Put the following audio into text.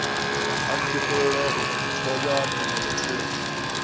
a ntokolle go kgolwa tumelothoko